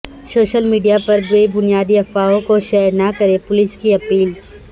social media پر بے بنیاد افواہوں کو شیئر نہ کرنے پولیس کی اپیل